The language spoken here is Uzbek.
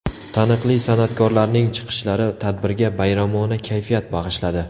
Taniqli san’atkorlarning chiqishlari tadbirga bayramona kayfiyat bag‘ishladi.